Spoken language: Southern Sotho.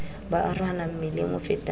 ba arohana mmileng o fetang